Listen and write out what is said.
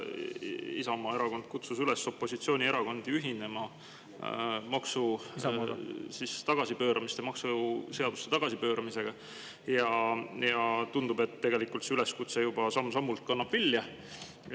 Isamaa Erakond kutsus opositsioonierakondi üles ühinema maksuseaduste tagasipööramisega ja tundub, et tegelikult see üleskutse kannab juba samm-sammult vilja.